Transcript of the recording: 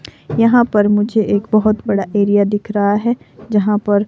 यहाँ पर मुझे एक बहुत बड़ा एरिया दिख रहा है जहाँ पर--